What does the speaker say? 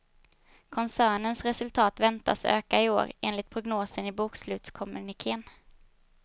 Koncernens resultat väntas öka i år, enligt prognosen i bokslutskommunikén.